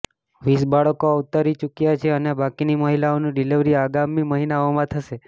વીસ બાળકો અવતરી ચૂક્યાં છે અને બાકીની મહિલાઓની ડિલિવરી આગામી મહિનાઓમાં થશે